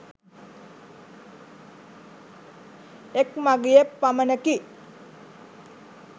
එක් මගියෙක් පමණකි.